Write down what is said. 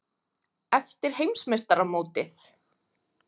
Eftir Heimsmeistaramótið?